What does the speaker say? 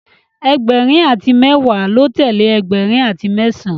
Egberin ati mewa lọ telee ẹgbẹrin ati mẹsan